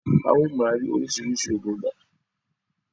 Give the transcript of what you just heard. À o máa ní orísìírísìí ògùn ibà